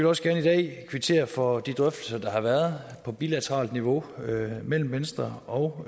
også gerne i dag kvittere for de drøftelser der har været på bilateralt niveau mellem venstre og